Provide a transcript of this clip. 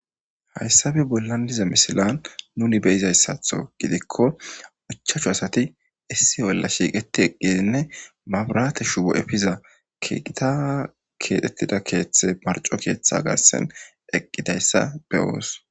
Hayssape bollan diza misilan nuni be'izayisato gidiko ichachu asati issi bolla shiqeti eqidine mabirate shubo efiza keththa kethetida keththe marco keththa garissan eqizayssa be'os.